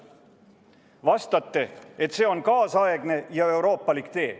Vastate, et see on kaasaegne ja euroopalik tee.